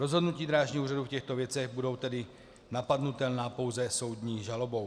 Rozhodnutí Drážního úřadu v těchto věcech budou tedy napadnutelná pouze soudní žalobou.